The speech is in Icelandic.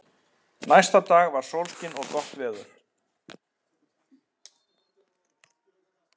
Spennandi sagði Kamilla aftur og óskaði honum góðrar ferðar.